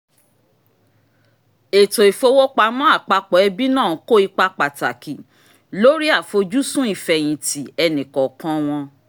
ètò ìfowópamọ́ àpapọ̀ ẹbí náà kó ipa pàtàkì lórí àfojúsùn ìfẹ̀yìntì ẹnìkọ̀ọ̀kan wọn